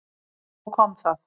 Svo kom það.